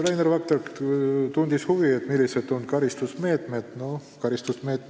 Rainer Vakra tundis veel huvi, millised on karistusmeetmed, kui me ei suuda eesmärke täita.